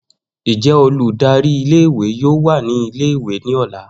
Njẹ oludari ìle-ìwe yoo wa ni ìle-ìwe ni ọla?